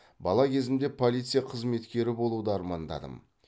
бала кезімде полиция қызметкері болуды армандадым